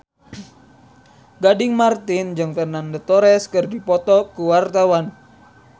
Gading Marten jeung Fernando Torres keur dipoto ku wartawan